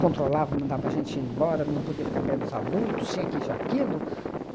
controlava, mandava a gente ir embora, não podia ficar perto dos adultos, tinha que isso e aquilo.